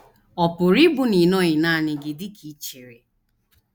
Ọ̀ pụrụ ịbụ na ị nọghị nanị gị dị ka i chere?